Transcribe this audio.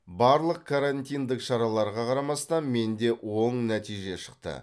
барлық карантиндік шараларға қарамастан менде оң нәтиже шықты